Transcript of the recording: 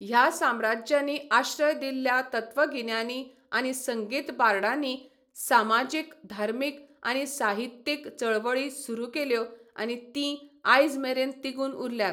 ह्या साम्राज्यांनी आश्रय दिल्ल्या तत्वगिन्यानी आनी संगीत बार्डांनी समाजीक धार्मिक आनी साहित्यीक चळवळी सुरू केल्यो आनी तीं आयजमेरेन तिगून उरल्यात.